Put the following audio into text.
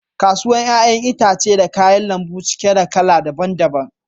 Kasuwan yayan itatuwan da kayan lambu cike da kala daban -daban.